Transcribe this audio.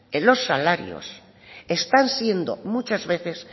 los salarios están siendo muchas veces